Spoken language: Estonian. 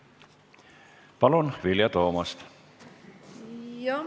Palun, Vilja Toomast!